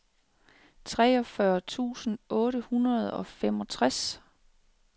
treogfyrre tusind otte hundrede og femogtres